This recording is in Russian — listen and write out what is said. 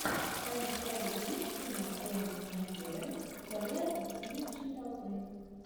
в твоем каталоге есть кино иэн маккеллен вдали от обезумевшей толпы